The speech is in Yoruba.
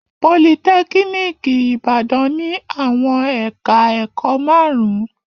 Politẹ́kíníkì Ìbàdàn ní àwọn ẹ̀ka-ẹ̀kọ́ márùn-ún.